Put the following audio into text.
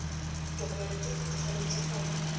ditokomane tsotlhe di tshwanetse go